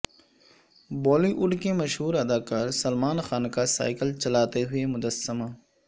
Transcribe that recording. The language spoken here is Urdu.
بالی وڈ کے مشہور ادا کار سلمان خان کا سائیکل چلاتے ہوئے مجسمہ